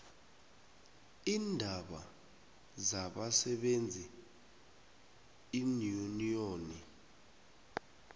iindaba zabasebenzi iinyuniyoni